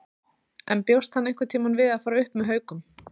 En bjóst hann einhverntímann við að fara upp með Haukum?